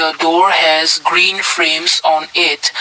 the door has green frames on it.